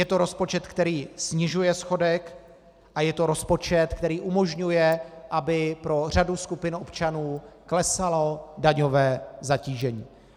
Je to rozpočet, který snižuje schodek, a je to rozpočet, který umožňuje, aby pro řadu skupin občanů klesalo daňové zatížení.